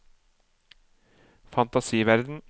fantasiverden